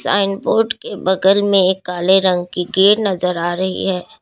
आइन बोर्ड के बगल में एक काले रंग की गे नजर आ रही है।